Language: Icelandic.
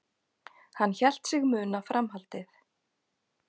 Hann hélt sig muna framhaldið.